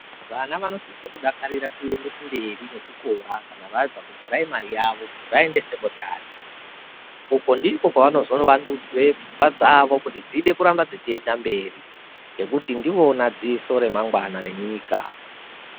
Vana vanosise kudakarira kuende kumberi nechikora kana vabva kupurayimari yavo vaende sekondari uko ndiko kwavanozone vandudzwe pfungwa dzavo kuti dzide kuramba dzichienda mberi ngokuti ndivona dziso ramangwani renyika.